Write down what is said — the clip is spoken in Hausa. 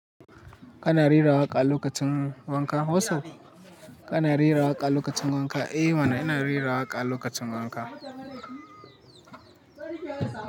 Kana rera waƙa lokacin wanka? What's up? Kana rera waƙa lokacin wanka? Eh mana ina rera waƙa lokacin wanka.